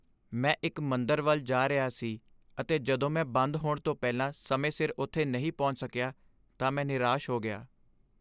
ਮੈਂ ਇੱਕ ਮੰਦਰ ਵੱਲ ਜਾ ਰਿਹਾ ਸੀ ਅਤੇ ਜਦੋਂ ਮੈਂ ਬੰਦ ਹੋਣ ਤੋਂ ਪਹਿਲਾਂ ਸਮੇਂ ਸਿਰ ਉੱਥੇ ਨਹੀਂ ਪਹੁੰਚ ਸਕਿਆ ਤਾਂ ਮੈਂ ਨਿਰਾਸ਼ ਹੋ ਗਿਆ।